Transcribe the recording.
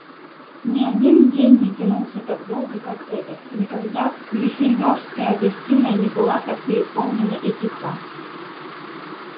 ни один день не тянулся так долго как этот никогда гриффиндорская гостиная не была так переполнена и тиха